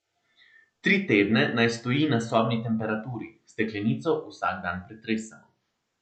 Tri tedne naj stoji na sobni temperaturi, steklenico vsak dan pretresemo.